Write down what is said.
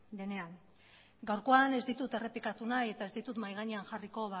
denean gaurkoan ez ditut errepikatu nahi eta ez ditut mahai gainean jarriko